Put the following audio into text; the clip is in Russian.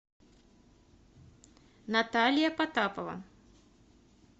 наталья потапова